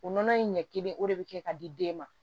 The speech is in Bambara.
O nɔnɔ in ɲɛ kelen o de bɛ kɛ ka di den ma